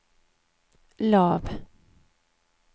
lav